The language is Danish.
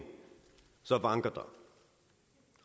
så vanker der